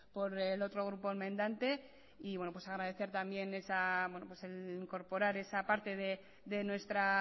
por el otro grupo enmendante y agradecer también el incorporar esa parte de nuestra